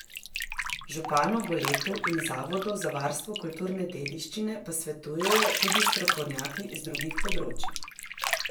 Županu Goletu in zavodu za varstvo kulturne dediščine pa svetujejo tudi strokovnjaki z drugih področij.